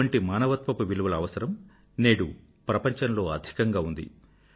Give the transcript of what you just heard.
ఇటువంటి మానవత్వపు విలువల అవసరం నేడు ప్రపంచంలో అధికంగా ఉంది